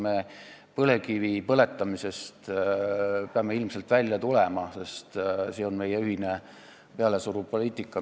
Me peame põlevkivi põletamisest ilmselt loobuma, see on meie ühine meile pealesuruv poliitika.